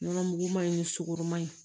Nɔnɔ mugu man ɲi ni sukoroma ye